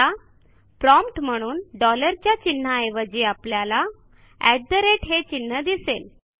आता प्रॉम्प्ट म्हणून डॉलर च्या चिन्हाऐवजी आपल्याला हे चिन्ह दिसेल